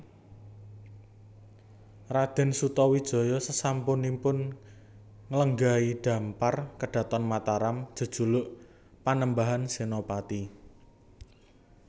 Raden Sutawijaya sasampunipun nglenggahi dhampar kedhaton Mataram jejuluk Panembahan Senopati